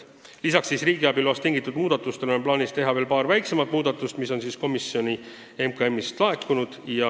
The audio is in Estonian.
Lisaks riigiabi loast tingitud muudatustele on plaanis teha veel paar väiksemat muudatust Majandus- ja Kommunikatsiooniministeeriumi soovil.